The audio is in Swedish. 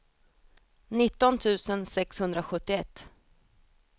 nitton tusen sexhundrasjuttioett